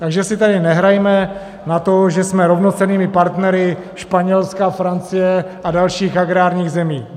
Takže si tady nehrajme na to, že jsme rovnocennými partnery Španělska, Francie a dalších agrárních zemí.